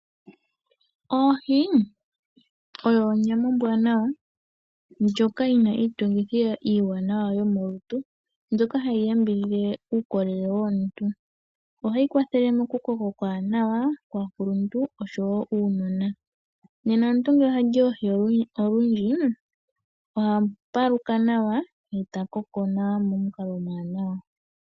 Oohi oyo onyama ombwanawa ndjoka yi na iitungithilutu iiwanawa mbyoka hayi yambidhidha uukolele womuntu. Ohayi kwathele mokukoka okuwanawa kwaakuluntu oshowo uunona. Nena ngele omuntu oha li oohi olundji oha paluka nawa ye ta koko nawa momukalo omwaanawa.